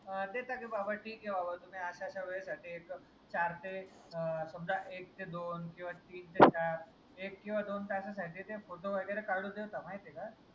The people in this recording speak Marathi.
अं देता का बाबा ठीक ए बाबा तुम्ही अश्या अश्या वेळेसाठी एक चार ते अं समजा एक ते दोन किवा तीन ते चार एक किवा दोन तासासाठी ते photo वगैरे काढू देता माहितीय का?